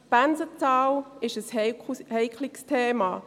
Die Pensenzahl ist ein heikles Thema.